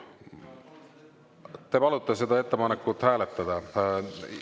Te palute seda ettepanekut hääletada?